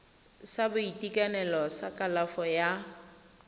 sa boitekanelo sa kalafo ya